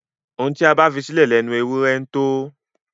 Ohun tí a bá fisílẹ̀ lẹnu ewúrẹ ńtó.